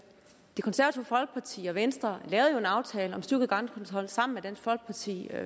det konservative folkeparti og venstre lavede jo en aftale om styrket grænsekontrol sammen med dansk folkeparti